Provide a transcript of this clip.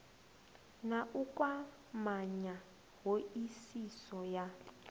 na u kwamanya hoisiso ya